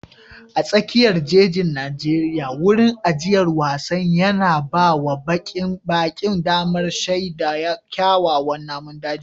A tsakiyar jejin Najeriya, wurin ajiyar wasan yana ba wa baƙi damar shaida kyawawan namun daji.